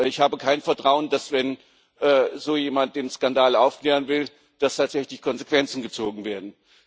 Ich habe kein Vertrauen, dass, wenn so jemand den Skandal aufklären will, tatsächlich Konsequenzen gezogen werden.